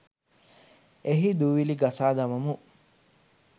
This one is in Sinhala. එහි දූවිලි ගසා දමමු